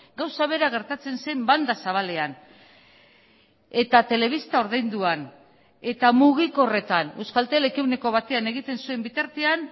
gauza bera gertatzen zen banda zabalean eta telebista ordainduan eta mugikorretan euskaltelek ehuneko batean egiten zuen bitartean